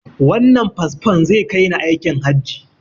Wannan fasfon zai kai ni aikin hajji.